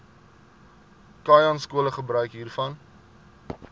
khanyaskole gebruik hiervan